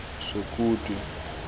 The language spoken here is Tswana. sokutu